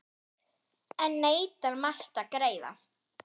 Enn neitar Mast að greiða.